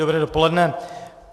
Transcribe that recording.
Dobré dopoledne.